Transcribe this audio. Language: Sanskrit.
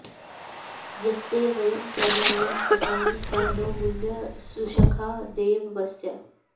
यत्ते वयं प्रमिनाम व्रतानि स नो मृळ सुषखा देव वस्यः